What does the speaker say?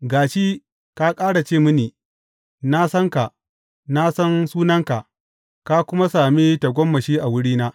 Ga shi ka ƙara ce mini, Na san ka, na san sunanka, ka kuma sami tagomashi a wurina.’